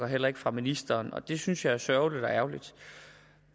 heller ikke fra ministeren og det synes jeg er sørgeligt